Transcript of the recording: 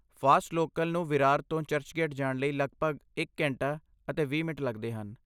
fast local ਨੂੰ ਵਿਰਾਰ ਤੋਂ ਚਰਚਗੇਟ ਜਾਣ ਲਈ ਲਗਭਗ ਇੱਕ ਘੰਟਾ ਅਤੇ ਵੀਹ ਮਿੰਟ ਲੱਗਦੇ ਹਨ